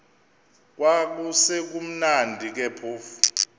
kwakusekumnandi ke phofu